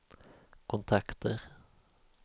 kontakter